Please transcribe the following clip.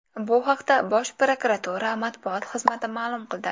Bu haqda Bosh prokuratura matbuot xizmati ma’lum qildi .